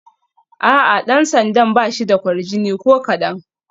A'a, dan sandan ba shi da kwarjini ko kadan